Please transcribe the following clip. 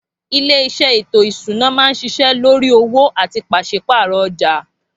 Ilé isé ètò ìṣúná máa ń ṣiṣẹ́ lórí owó àti pàsípààrò ọjà